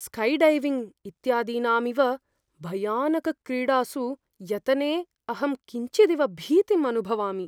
Skydiving इत्यादीनामिव भयानकक्रीडासु यतने अहं किञ्चिदिव भीतिम् अनुभवामि।